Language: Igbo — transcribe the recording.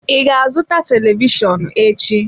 I ga azụta televishọnụ echi?